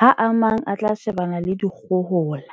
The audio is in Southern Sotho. ha a mang a tla shebana le dikgohola.